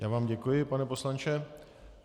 Já vám děkuji, pane poslanče.